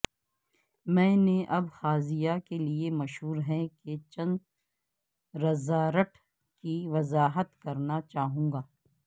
میں نے ابخازیہ کے لئے مشہور ہیں کہ چند رزارٹ کی وضاحت کرنا چاہوں گا